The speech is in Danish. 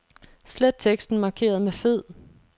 Slet teksten markeret med fed.